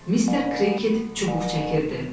Mister Kreekit çubuq çəkirdi.